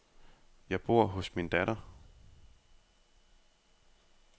Jeg bor hos min datter.